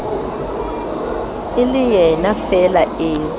e le yenafeela eo re